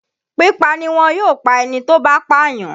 Pípa niwọn yóò pa ẹni tó bá pàyàn.